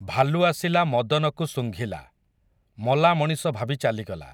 ଭାଲୁ ଆସିଲା ମଦନକୁ ଶୁଙ୍ଘିଲା, ମଲା ମଣିଷ ଭାବି ଚାଲିଗଲା ।